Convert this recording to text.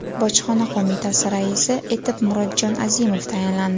Bojxona qo‘mitasi raisi etib Murodjon Azimov tayinlandi.